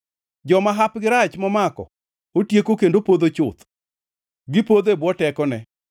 Joma hapgi rach momako otieko kendo podho chuth, gipodho e bwo tekone.